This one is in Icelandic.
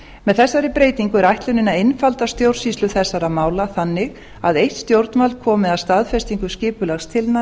með þessari breytingu er ætlunin að einfalda stjórnsýslu þessara mála þannig að eitt stjórnvald komi að staðfestingu skipulagstillagna